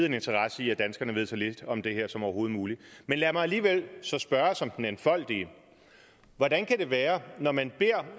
en interesse i at danskerne ved så lidt om det her som overhovedet muligt men lad mig alligevel spørge som den enfoldige hvordan kan det være når man beder